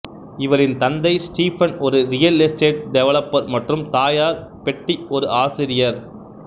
இவரின் தந்தை ஸ்டீபன் ஒரு ரியல் எஸ்டேட் டெவலப்பர் மற்றும் தாயார் பெட்டி ஒரு ஆசிரியார்